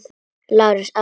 LÁRUS: Aðstoða mig!